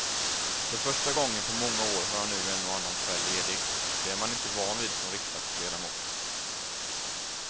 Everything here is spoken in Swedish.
För första gången på många år har jag nu en och annan kväll ledig, det är man inte van vid som riksdagsledamot.